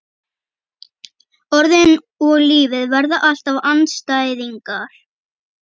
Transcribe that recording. Orðin og lífið verða alltaf andstæðingar.